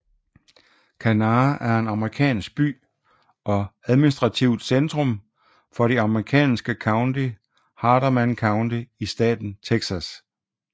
Quanah er en amerikansk by og administrativt centrum for det amerikanske county Hardeman County i staten Texas